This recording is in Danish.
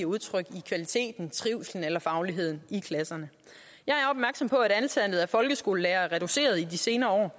udtryk i kvaliteten trivslen eller fagligheden i klasserne jeg er opmærksom på at antallet af folkeskolelærere er reduceret i de senere år